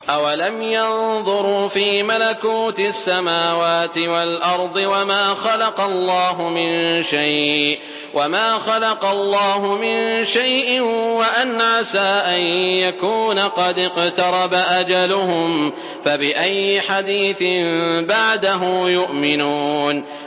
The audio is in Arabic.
أَوَلَمْ يَنظُرُوا فِي مَلَكُوتِ السَّمَاوَاتِ وَالْأَرْضِ وَمَا خَلَقَ اللَّهُ مِن شَيْءٍ وَأَنْ عَسَىٰ أَن يَكُونَ قَدِ اقْتَرَبَ أَجَلُهُمْ ۖ فَبِأَيِّ حَدِيثٍ بَعْدَهُ يُؤْمِنُونَ